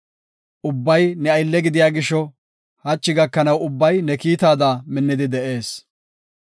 Ubbay ne aylle gidiya gisho, hachi gakanaw ubbay ne kiittada minnidi de7ees;